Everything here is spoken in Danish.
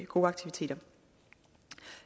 gode aktiviteter